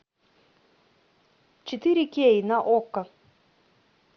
четыре кей на окко